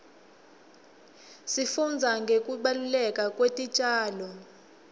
sifundza ngekubaluleka kwetitjalo